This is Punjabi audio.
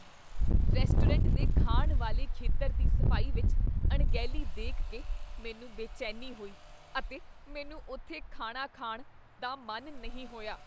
ਰੈਸਟੋਰੈਂਟ ਦੇ ਖਾਣ ਵਾਲੇ ਖੇਤਰ ਦੀ ਸਫ਼ਾਈ ਵਿੱਚ ਅਣਗਹਿਲੀ ਦੇਖ ਕੇ ਮੈਨੂੰ ਬੇਚੈਨੀ ਹੋਈ ਅਤੇ ਮੈਨੂੰ ਉੱਥੇ ਖਾਣਾ ਖਾਣ ਦਾ ਮਨ ਨਹੀਂ ਹੋਇਆ।